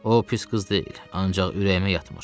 O pis qız deyil, ancaq ürəyimə yatmır.